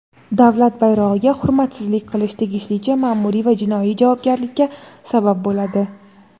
Davlat bayrog‘iga hurmatsizlik qilish tegishlicha maʼmuriy va jinoiy javobgarlikka sabab bo‘ladi.